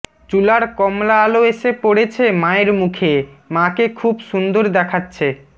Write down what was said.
চুলার কমলা আলো এসে পড়েছে মায়ের মুখে মাকে খুব সুন্দর দেখাচ্ছে